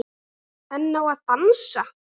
En á að dansa?